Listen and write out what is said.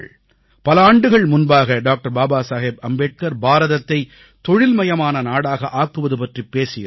பல ஆண்டுகள் முன்பாக டாக்டர் பாபா சாஹேப் அம்பேத்கர் பாரதத்தை தொழில்மயமான நாடாக ஆக்குவது பற்றிப் பேசியிருந்தார்